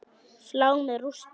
Flá með rústum.